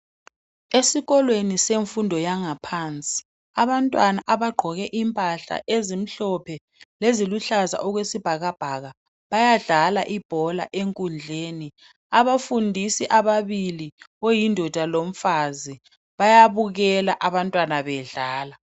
Esikolweni semfundo yangaphansi abantwana abagqoke impahla ezimhlophe leziluhlaza okwesibhakabhaka bayadlala ibhola enkundleni .Abafundisi ababili oyindoda lomfazi bayabukela abantwana bedlala